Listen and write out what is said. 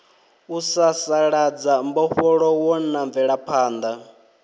u sasaladza mbofholowo na mvelaphanḓa